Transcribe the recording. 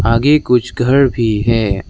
आगे कुछ घर भी है।